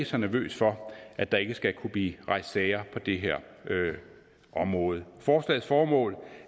så nervøs for at der ikke skal kunne blive rejst sager på det her område forslagets formål